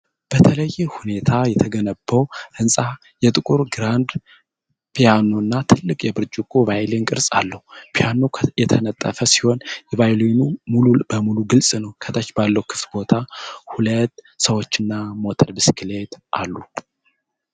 በተለየ ሁኔታ የተገነባው ሕንፃ የጥቁር ግራንድ ፒያኖ እና ትልቅ የብርጭቆ ቫዮሊን ቅርፅ አለው። ፒያኖው የተነጠፈ ሲሆን ቫዮሊኑ ሙሉ በሙሉ ግልጽ ነው። ከታች ባለው ክፍት ቦታ ሁለት ሰዎችና ሞተር ብስክሌት አሉ።